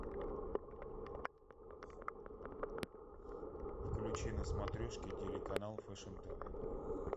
включи на смотрешке телеканал фешн тв